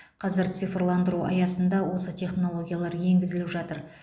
қазір цирфландыру аясында осы технологиялар енгізіліп жатыр